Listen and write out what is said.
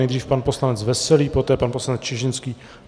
Nejdřív pan poslanec Veselý, poté pan poslanec Čižinský.